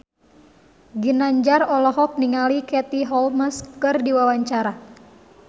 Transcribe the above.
Ginanjar olohok ningali Katie Holmes keur diwawancara